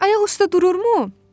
"Ayaq üstə dururmu?"